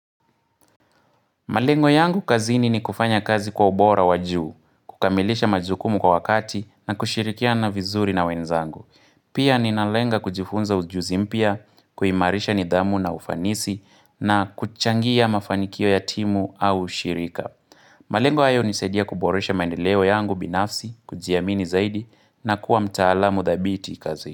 Malengo yangu kazini ni kufanya kazi kwa ubora wajuu, kukamilisha majukumu kwa wakati na kushirikia na vizuri na wenzangu. Pia ninalenga kujifunza ujuzimpya, kuimarisha nidhamu na ufanisi na kuchangia mafanikio yatimu au ushirika. Malengo hayo hunisaidia kuboresha maendeleo yangu binafsi, kujiamini zaidi na kuwa mtaalamu dhabiti kazi.